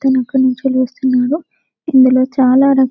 ఒక అతను అక్కడి నుంచి లేస్తున్నాడు ఇందులో చాలా రకాల --